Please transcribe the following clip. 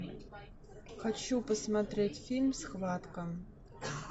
хочу посмотреть фильм схватка